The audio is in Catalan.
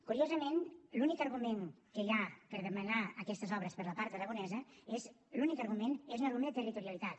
curiosament l’únic argument que hi ha per demanar aquestes obres per la part aragonesa és l’únic argument un argument de territorialitat